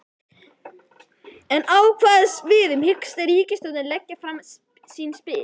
En á hvaða sviðum hyggst ríkisstjórnin leggja fram sín spil?